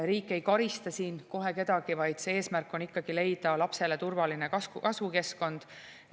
Riik ei karista kohe kedagi, vaid eesmärk on ikkagi leida lapsele turvaline kasvukeskkond.